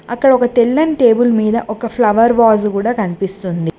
అక్కడ ఒక తెల్లని టేబుల్ మీద ఒక ఫ్లవర్ వాస్ గూడా కనిపిస్తుంది.